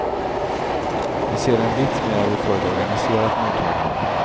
Vi ser en vits med att vi får ett organiserat mottagande.